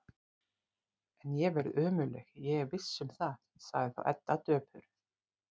En ég verð ömurleg, ég er viss um það, sagði þá Edda döpur.